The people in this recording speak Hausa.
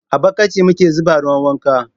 a bukiti muke zuba ruwan wanka.